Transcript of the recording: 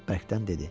Bərkdən dedi.